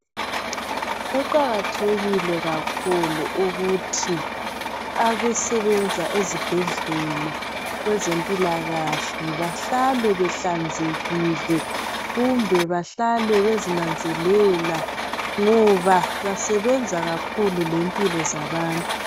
Kuqakathekile kakhulu ukuthi abasebenza ezibhedlela kwezempilakahle behlale behlanzekile kumbe bahlale bezinanzelela ngoba besebenza kakhulu lempilo zabantu.